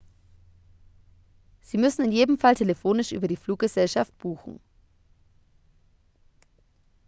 sie müssen in jedem fall telefonisch über die fluggesellschaft buchen